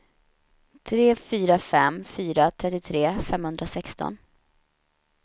tre fyra fem fyra trettiotre femhundrasexton